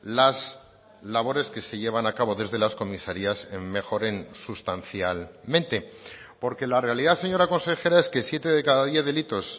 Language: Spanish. las labores que se llevan a cabo desde las comisarías mejoren sustancialmente porque la realidad señora consejera es que siete de cada diez delitos